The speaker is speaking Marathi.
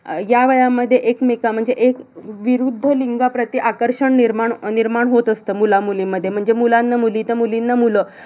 अह ह्या वयामध्ये एकमेका म्हणजे एक अह विरुद्ध लिंगाप्रती आकर्षण निर्माण निर्माण होत असतं मुलं-मुलींमध्ये. म्हणजे मुलांना मुली तर मुलींना मुलं.